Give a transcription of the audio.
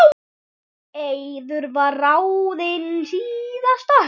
Eiður var ráðinn síðasta haust.